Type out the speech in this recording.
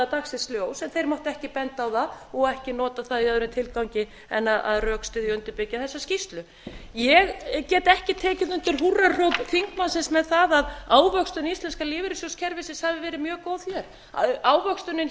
dagsins ljós en þeir máttu ekki benda á það og ekki nota það í öðrum tilgangi en að rökstyðja og undirbyggja þessa skýrslu ég get ekki tekið undir húrrahróp þingmannsins með það að ávöxtun íslenska lífeyrissjóðakerfisins hafi verið mjög góð hér ávöxtunin